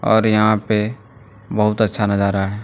और यहां पे बहुत अच्छा नजारा है।